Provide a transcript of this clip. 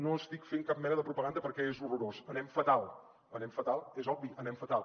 no estic fent cap mena de propaganda perquè és horrorós anem fatal anem fatal és obvi anem fatal